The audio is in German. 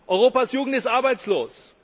Europas Jugend ist arbeitslos.